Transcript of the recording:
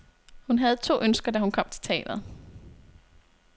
Hun havde to ønsker, da hun kom til teatret.